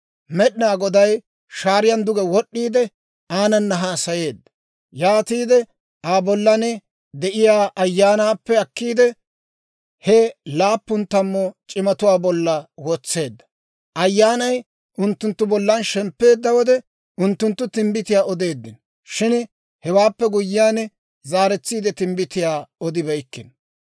Med'inaa Goday shaariyan duge wod'd'iide, aananna haasayeedda; yaatiide Aa bollan de'iyaa Ayyaanaappe akkiide, he laappun tammu c'imatuwaa bolla wotseedda. Ayyaanay unttunttu bollan shemppeedda wode, unttunttu timbbitiyaa odeeddino. Shin hewaappe guyyiyaan, zaaretsiide timbbitiyaa odibeykkino.